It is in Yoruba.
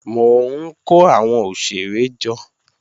Mò ń kó àwọn òṣèré jọ